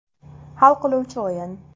Hal qiluvchi o‘yin.